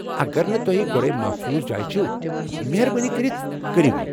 اگر نہٕ توہہِ گۄڈے محفوٗظ جایہِ چھو، مہربٲنی کٔرتھ كریو یہِ ۔